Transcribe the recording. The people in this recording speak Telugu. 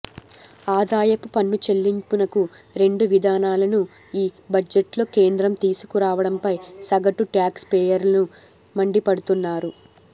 ఆదాయపు పన్ను చెల్లింపునకు రెండు విధానాలను ఈ బడ్జెట్లో కేంద్రం తీసుకు రావడంపై సగటు టాక్స్ పేయర్లు మండిపడుతున్నారు